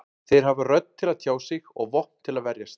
Þeir hafa rödd til að tjá sig og vopn til að verjast.